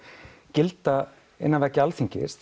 gilda innan veggja Alþingis